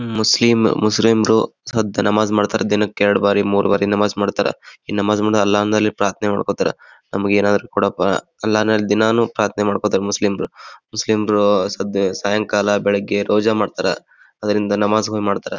Muslim ಮುಸ್ರಿಮ್ರು ಸದ್ದ್ ನಮಾಜ್ ಮಾಡ್ತಾರೆ ದಿನಕ್ಕೆರಡ್ ಬಾರಿ ಮೂರ ಬಾರಿ ನಮಾಜ್ ಮಾಡತ್ತರ ಈ ನಮಾಜ್ ಮಾಡೋದ್ ಅಲ್ಲಾಂದಲಿ ಪ್ರಾತ್ನೆ ಮಾಡ್ಕೊತರೆ ನಮಗೆ ಏನಾದ್ರು ಕೊಡಪ್ಪಾ ಅಲ್ಲಾನಲ್ ದಿನಾನೂ ಪ್ರಾತ್ನೆ ಮಾಡ್ಕೊತರೆ ಮುಸ್ಲಿಮ್ರು ಮುಸ್ಲಿಮ್ರು ಸದ್ದ ಸಾಯಂಕಾಲ ಬೆಳಗ್ಗೆ ರೋಜ ಮಾಡತ್ತರೆ ಅದ್ರಿಂದ ನಮಾಜ್ಗುಳು ಮಾಡತ್ತರೆ.